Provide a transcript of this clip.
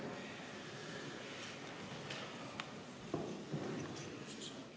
Istungi lõpp kell 13.00.